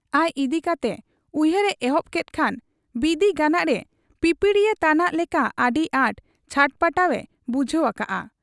ᱟᱡ ᱤᱫᱤ ᱠᱟᱛᱮ ᱩᱭᱦᱟᱹᱨ ᱮ ᱮᱦᱚᱵ ᱠᱮᱫ ᱠᱷᱟᱱ ᱵᱤᱸᱫᱤ ᱜᱟᱱᱟᱜ ᱨᱮ ᱯᱤᱯᱤᱲᱤᱭᱟᱹᱝ ᱛᱟᱱᱟᱜ ᱞᱮᱠᱟ ᱟᱹᱰᱤ ᱟᱸᱴ ᱪᱷᱟᱴᱯᱟᱴᱟᱣ ᱮ ᱵᱩᱡᱷᱟᱹᱣ ᱟᱠᱟᱜ ᱟ ᱾